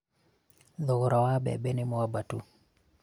thogora wa mbembe nĩ mwabatu